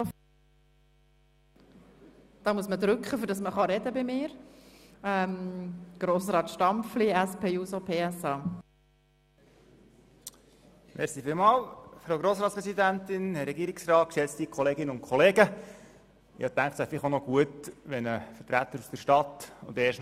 Ich dachte, es wäre gut, wenn auch noch ein Vertreter aus der Stadt – und erst noch ein Linker – zu diesem Vorstoss spricht.